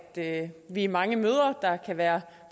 at vi er mange mødre der kan være